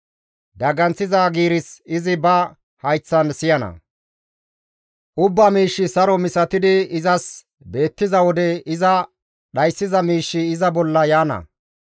Daganththiza giiris izi ba hayththan siyana; ubbaa miishshi saro misatidi izas beettiza wode iza dhayssiza miishshi iza bolla yaana.